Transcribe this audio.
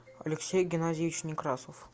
алексей геннадьевич некрасов